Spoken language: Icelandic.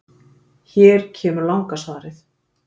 Hér kemur langa svarið: